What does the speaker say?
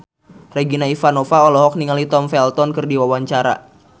Regina Ivanova olohok ningali Tom Felton keur diwawancara